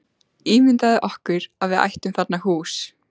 Ímyndað okkur að við ættum þarna hús.